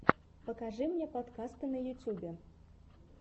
покажи мне подкасты в ютубе